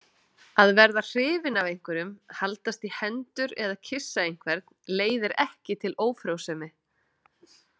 Að verða hrifinn af einhverjum, haldast í hendur eða kyssa einhvern leiðir ekki til ófrjósemi.